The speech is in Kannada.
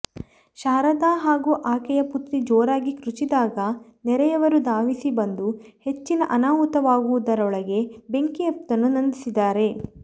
ಶಾರದಾ ಹಾಗೂ ಆಕೆಯ ಪುತ್ರಿ ಜೋರಾಗಿ ಕ್ರುಚಿದಾಗ ನೆರೆಯವರು ಧಾವಿಸಿ ಬಂದು ಹೆಚ್ಚಿನ ಅನಾಹುತವಾಗುವುದರೊಳಗೆ ಬೆಂಕಿಯ್ತನ್ನು ನಂದಿಸಿದ್ದಾರೆ